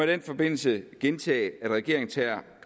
den forbindelse gentage at regeringen tager